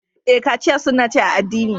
Ee, kachiya sunna ce a addini.